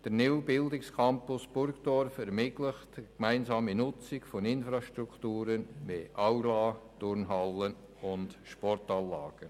Der neue Bildungscampus Burgdorf ermöglicht die gemeinsame Nutzung von Infrastrukturen wie Aula, Turnhalle und Sportanlagen.